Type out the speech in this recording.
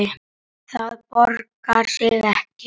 Það borgar sig ekki